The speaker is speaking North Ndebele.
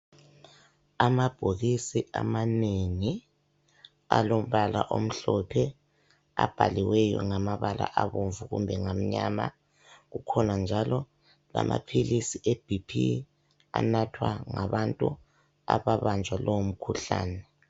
Amabhokisi amanengi alombala omhlophe abhaliweyo ngamabala abomvu kumbe ngamnyama ,kukhona njalo lamaphilisi eBP anathwa ngabantu ababanjwa lowo mkhuhlane.